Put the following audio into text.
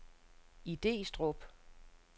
Idestrup